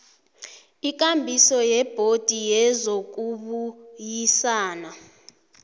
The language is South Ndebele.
ikambiso yebhodi yezokubuyisana